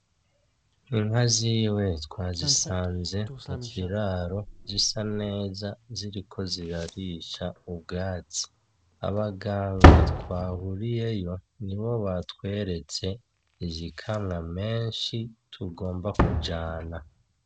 Inka ziwe twazisanze mu kiraro zisa neza ziriko zirarisha ubwatsi, abaganga twahuriyeyo nibo batweretse iyikamwa menshi tugomba kujana.